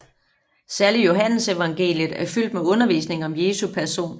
Særligt Johannesevangeliet er fyldt med undervisning om Jesu person